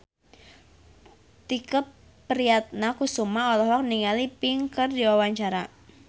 Tike Priatnakusuma olohok ningali Pink keur diwawancara